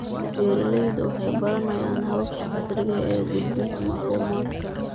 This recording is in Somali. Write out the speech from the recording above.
Beeraleydu waxay baranayaan hababka casriga ah ee gudbinta macluumaadka.